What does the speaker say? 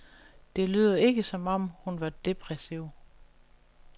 Det lyder ikke som om, hun var depressiv.